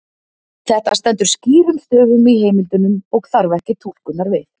Þetta stendur skýrum stöfum í heimildunum og þarf ekki túlkunar við.